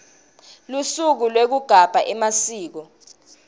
lusuku lwekugabha emasiko